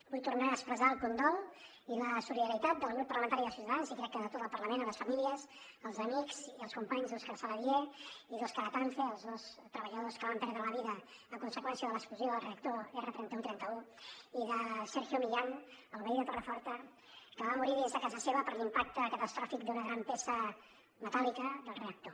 vull tornar a expressar el condol i la solidaritat del grup parlamentari de ciutadans i crec que de tot el parlament a les famílies als amics i als companys d’òscar saladié i d’òscar atance els dos treballadors que van perdre la vida a conseqüència de l’explosió del reactor r3131 i de sergio millán el veí de torreforta que va morir dins de casa seva per l’impacte catastròfic d’una gran peça metàl·lica del reactor